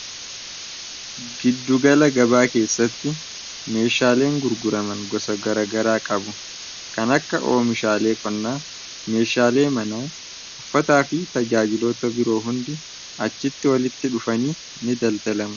Giddugala gabaa keessatti meeshaaleen gurguraman gosa garagaraa qabu. Kan akka oomishaalee qonnaa, meeshaalee mana, uffataa fi tajaajiloota biroo hundi achitti walitti dhufanii ni daldaalamu.